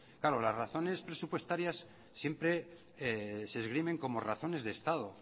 claro las razones presupuestarias siempre se esgrimen como razones de estado